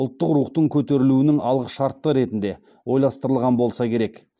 ұлттық рухтың көтерілуінің алғышарты ретінде ойластырған болса керек